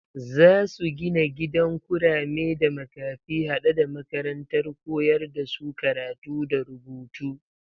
Zasu gina gidan kurame da makafi hade da makarantar koyar da su karatu da rubutu